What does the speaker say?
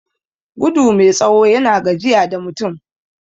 Gudu mai tsawo na gajiya da mutum